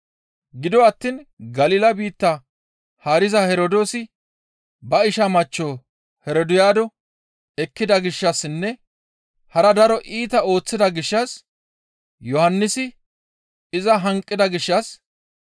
Gido attiin Galila biitta haariza Herdoosi ba isha machcho Herodiyaado ekkida gishshassinne hara daro iita ooththida gishshas Yohannisi iza hanqida gishshas,